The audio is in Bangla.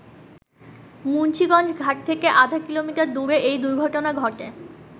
মুন্সীগঞ্জ ঘাট থেকে আধা কিলোমটার দূরে এই দুর্ঘটনা ঘটে।